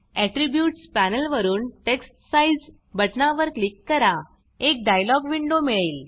attributes panel वरुन text size बटनावर click करा एक डायलॉग विण्डो मिळेल